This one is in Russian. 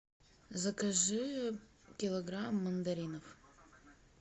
закажи килограмм мандаринов